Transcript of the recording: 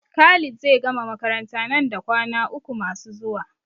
Khalid zai gama makaranta nan da kwana uku masu zuwa.